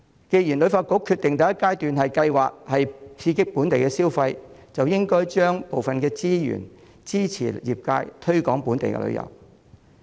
既然旅發局決定第一階段的計劃是刺激本地消費，便應該將部分資源支持業界推廣本地旅遊。